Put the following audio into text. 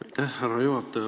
Aitäh, härra juhataja!